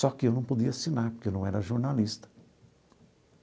Só que eu não podia assinar, porque eu não era jornalista.